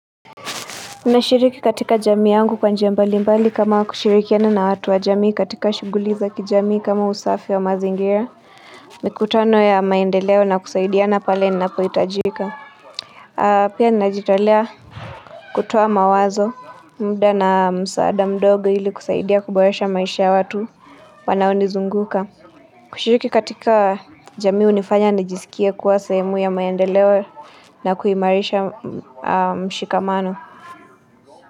Ninashiriki katika jamii yangu kwa njia mbalimbali kama kushirikiana na watu wa jamii katika shughuli za kijamii kama usafi wa mazingira. Mikutano ya maendeleo na kusaidiana pale ninapohitajika. Pia najitolea kutoa mawazo, muda na msaada mdogo ili kusaidia kuboresha maisha ya watu wanaonizunguka. Kushiriki katika jamii hunifanya nijisikie kuwa sehemu ya maendeleo na kuimarisha mshikamano.